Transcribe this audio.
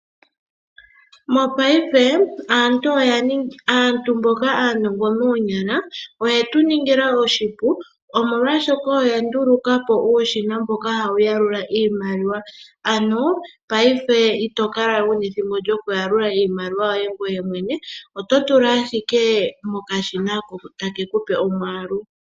Mongaashingeyi aantu mboka aanongo moonyala, oyeshi tuningila oshipu, molwaashoka oya ndulukapo uushina mboka hawu yalula iimaliwa, ano ngaashingeyi itokalawe wuna ethimbo lyokuyalula iimaliwa yoye ngoye mwene, oto tula ashike mokashina, ko take kupe omwaalu.